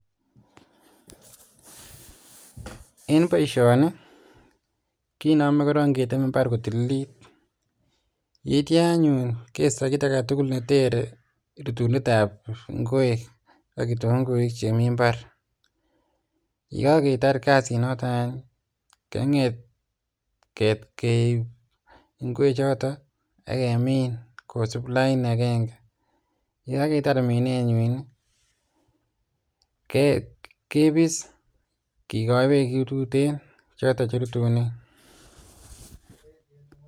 En boisioni kinome korong keteme imbar korong kotililit, itio anyuun kistoo kiit agetugul netere rutunetab inkwek ak kitunguik chemii imbar, yegagetar kasinoton any kenget keib inkwechoto ak Kemin kosib lain agenge yegagetar minenywan kibis kigoi beek chetuten choton cherutunen.